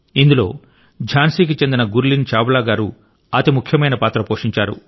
ఇందులో ఝాన్సీ కి చెందిన గుర్లీన్ చావ్లా గారు అతి ముఖ్యమైన పాత్ర పోషించారు